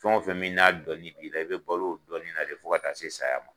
Fɛn o fɛn min n'a dɔnli b'i la i bɛ balo o dɔnni na de fo ka taa se saya ma.